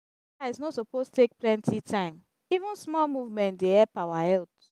exercise no suppose take plenty time; even small movement dey help our health.